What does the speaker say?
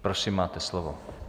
Prosím, máte slovo.